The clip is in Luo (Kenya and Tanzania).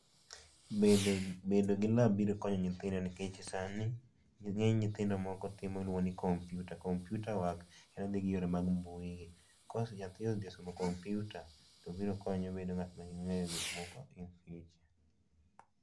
Bedo gi lab biro konyo nyithindo nikech sani ng'eny nyithindo moko timo gima iluongo ni computer, computer work en odhi gi weche mag mbui, ka nyathi osedhi somo computer to biro konye bedo ng'at man gi ng'eyo mopogore opogore.